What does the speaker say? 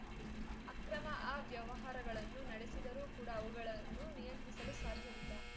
ಅಕ್ರಮ ಅವ್ಯವಹಾರಗಳನ್ನು ನಡೆಸಿದರೂ ಕೂಡ ಅವುಗಳನ್ನು ನಿಯಂತ್ರಿಸಲು ಸಾಧ್ಯವಿಲ್ಲ